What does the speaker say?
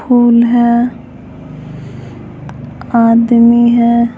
कौन है आदमी है।